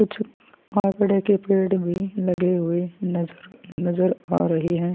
कुछ आकरे के पेड़ भी लगे हुए नजर नज़र आ रहै है।